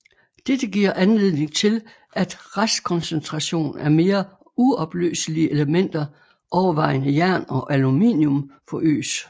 Dette giver anledning til at restkoncentration af mere uopløselige elementer overvejende jern og aluminum forøges